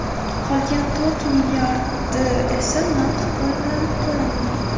Qolgan to‘rt milliardi esa naqd pul bilan to‘lanadi.